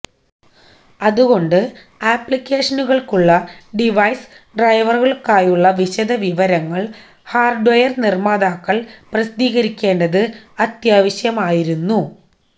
അതുകൊണ്ട് ആപ്ലിക്കേഷനുകൾക്കുള്ള ഡിവൈസ് ഡ്രൈവറുകൾക്കായുള്ള വിശദവിവരങ്ങൾ ഹാർഡ്വെയർ നിർമ്മാതാക്കൾ പ്രസിദ്ധീകരിക്കേണ്ട്ത് അത്യാവശ്യമായിരുന്നു